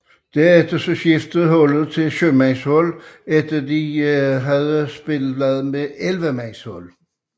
Herefter skiftede holdet til syvmandshold efter hidtil at have spillet med ellevemandshold